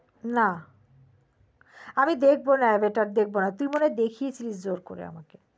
না আমি দেখবো না অবতার আমি দেখবনা তুই মনে হয় দেখিয়াছিলি আমায় জোর করে